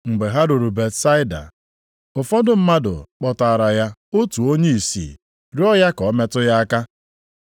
Mgbe ha ruru Betsaida, ụfọdụ mmadụ kpọtaara ya otu onye ìsì rịọọ ya ka o metụ ya aka,